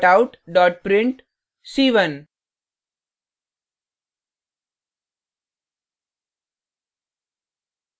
system out print c1;